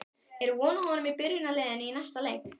Er von á honum í byrjunarliðinu í næsta leik?